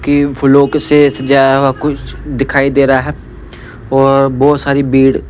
कि फूलोक से सजाया हुआ कुछ दिखाई दे रहा है और बहुत सारी भीड़।